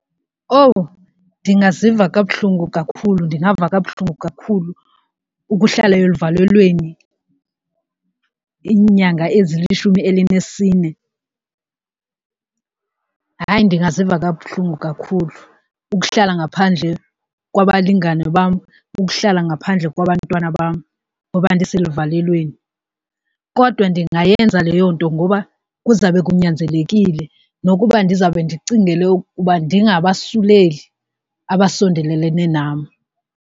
Owu! Ndingaziva kabuhlungu kakhulu ndingava kabuhlungu kakhulu ukuhlala eluvalelweni iinyanga ezilishumi elinesine. Hayi, ndingaziva kabuhlungu kakhulu ukuhlala ngaphandle kwabalingani bam, ukuhlala ngaphandle kwabantwana bam ngoba ndiseluvalelweni kodwa ndingayenza leyo nto ngoba kuzawube kunyanzelekile nokuba ndizawube ndicingele ukuba ndingabasuleli abasondelelene nam.